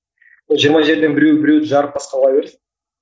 ол жиырма жерден біреу біреуді жарып басқа кыла берсін